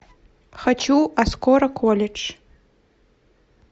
хочу а скоро колледж